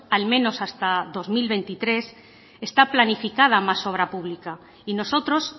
al menos hasta dos mil veintitrés está planificada más obra pública y nosotros